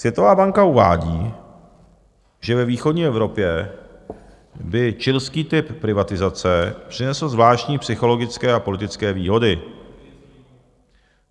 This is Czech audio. Světová banka uvádí, že ve východní Evropě by chilský typ privatizace přinesl zvláštní psychologické a politické výhody.